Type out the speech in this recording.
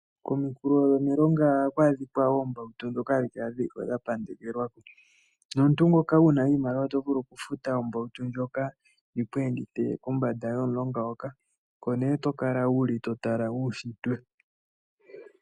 Kominkulo dhomiilonga oha ku adhikwa oombawutu dhoka hadhi kala dhiliko dha pandekelwa ko. Nomuntu ngoka wuna iimaliwa oto vulu oku futa ombawutu ndjoka yiku endithe kombanda yomulonga hoka. Oko nee wuli to tala uushitwe.